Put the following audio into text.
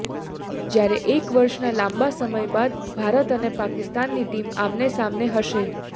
જ્યારે એક વર્ષના લાંબા સમય બાદ ભારત અને પાકિસ્તાનની ટીમ આમને સામને હશે